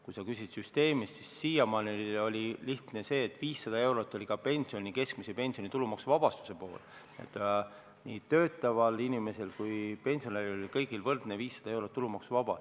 Kui sa küsid süsteemi kohta, siis siiamaani oli lihtne, sest 500 eurot oli tulumaksuvabastus nii töötaval inimesel kui ka pensionäril keskmise pensioni puhul, kõigil oli võrdselt 500 eurot tulumaksuvaba.